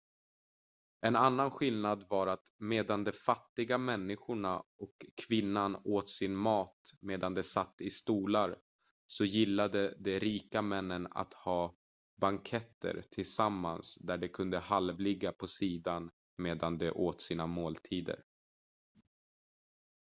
en annan skillnad var att medan de fattiga människorna och kvinnan åt sin mat medan de satt i stolar så gillade de rika männen att ha banketter tillsammans där de kunde halvligga på sidan medan de åt sina måltider